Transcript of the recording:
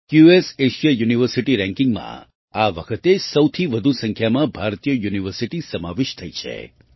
QS Asia university Rankingમાં આ વખતે સૌથી વધુ સંખ્યામાં ભારતીય યુનિવર્સિટી સમાવિષ્ટ થઈ છે